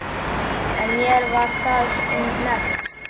En mér var það um megn.